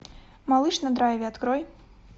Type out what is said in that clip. малыш на драйве открой